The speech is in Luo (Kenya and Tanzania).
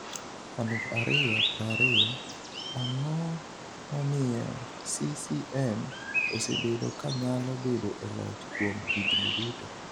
aluf ariyo prariyo: Ang’o momiyo CCM osebedo ka nyalo bedo e loch kuom higni duto?